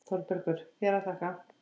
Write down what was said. ÞÓRBERGUR: Þér að þakka!